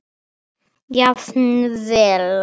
Jafnvel Jón